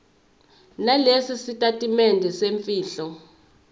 nalesi sitatimende semfihlo